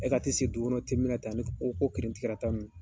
E ka ti sigi dugukɔnɔ min na ten, ani ko kirinti karata ninnu